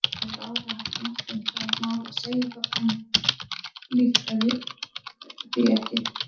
Hann hefur áreiðanlega haft margt um það mál að segja þótt hann flíkaði því ekki.